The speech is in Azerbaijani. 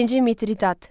İkinci Mitridat.